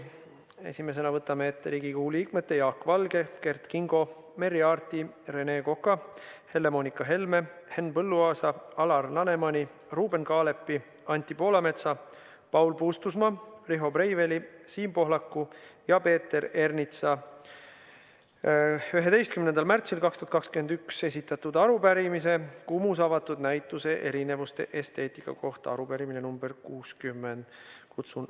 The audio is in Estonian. Esimesena võtame ette Riigikogu liikmete Jaak Valge, Kert Kingo, Merry Aarti, Rene Koka, Helle-Moonika Helme, Henn Põlluaasa, Alar Lanemani, Ruuben Kaalepi, Anti Poolametsa, Paul Puustusmaa, Riho Breiveli, Siim Pohlaku ja Peeter Ernitsa 11. märtsil 2021 esitatud arupärimise KUMU-s avatud näituse "Erinevuste esteetika" kohta .